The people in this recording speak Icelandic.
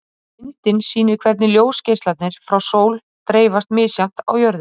Ef hann vill það ekki, þá mun ég ekki gera mig vitlausan af því.